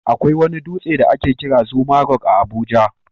Akwai wani dutse da ake kira Zuma Rock a Abuja.